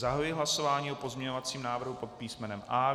Zahajuji hlasování o pozměňovacím návrhu pod písmenem A.